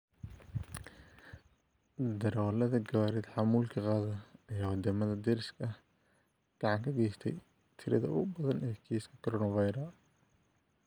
Darawalada gawaarida xamuulka qaada aya wadamada deriska ah gacan kageysta tirada ugubadan ee kiisaska coronaviru